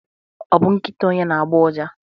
ọ bụ nkịta onye na-agbọ ụja?